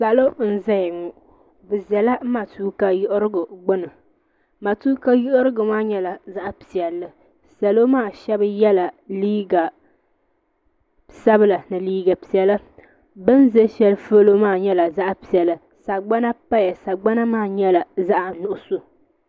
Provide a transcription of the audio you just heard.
Salo n zaya ŋɔ bi zala matuuka yiɣirigu gbuni matuuka yiɣirigu maa yɛla zaɣi piɛlli salo maa shɛba yela liiga sabila ni liiga piɛlla bini za ahɛli polo maa nyɛla zaɣi piɛlla sagbana paya sagbana maa nyɛla zaɣi nuɣiso.